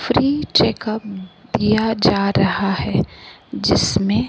free checkup दिया जा रहा है जिसमें--